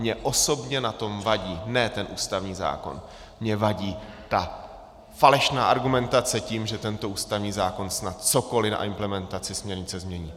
Mně osobně na tom vadí ne ten ústavní zákon, mně vadí ta falešná argumentace tím, že tento ústavní zákon snad cokoli na implementaci směrnice změní.